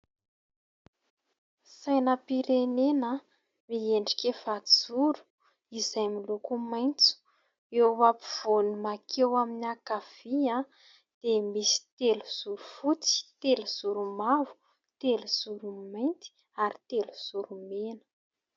Sainam-pirenena, miendrika efajoro izay miloko maitso. Eo ampovoany mankeo amin'ny ankavia dia misy telozoro fotsy, telozoro mavo, telozoro mainty ary telozoro mena.